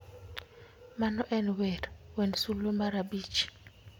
Mano en wer. Wend sulwe mar abich.